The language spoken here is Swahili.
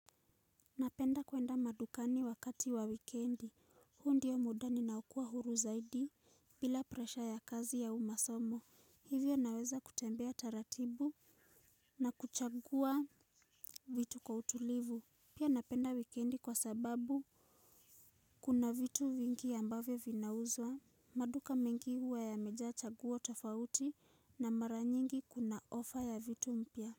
Napenda kwenda madukani wakati wa wikendi, huo ndio muda ninaokua huru zaidi bila presha ya kazi au masomo, hivyo naweza kutembea taratibu na kuchagua vitu kwa utulivu. Pia napenda wikendi kwa sababu kuna vitu vingi ambavyo vinauzwa, maduka mengi huwa yamejaa chaguo tofauti na mara nyingi kuna ofa ya vitu mpya.